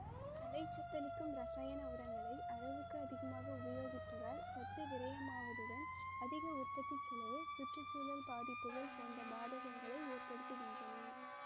தழைச்சத்தளிக்கும் இரசாயண உரங்களை அளவுக்கு அதிகமாக உபயோகிப்பதால் சத்து விரையமாவதுடன் அதிக உற்பத்திச்செலவு சுற்று சூழல் பாதிப்புகள் போண்ற பாதகங்களை ஏற்படுதுகின்றன